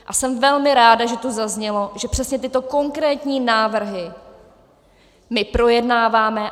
A jsem velmi ráda, že tu zaznělo, že přesně tyto konkrétní návrhy my projednáváme.